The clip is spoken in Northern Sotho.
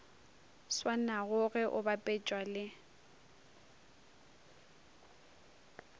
swanago ge o bapetšwa le